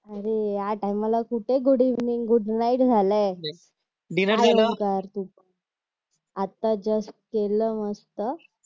अरे या टायमाला कुठे गुड इव्हनिंग गुड नाईट झाली आहे आता जस्ट केलं मस्त